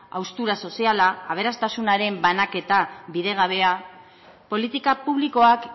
haustura soziala aberastasunaren banaketa bidegabea politika publikoak